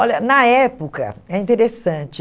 Olha, na época, é interessante.